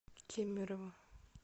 кемерово